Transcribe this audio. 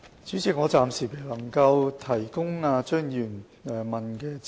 主席，我暫時未能提供張議員問及的資料。